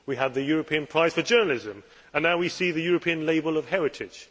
We have had the European Prize for Journalism, and now we see the European Label of Heritage.